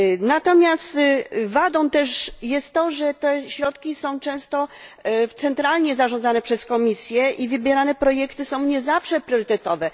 Natomiast wadą też jest to, że te środki są często centralnie zarządzane przez Komisję i wybierane projekty są nie zawsze priorytetowe.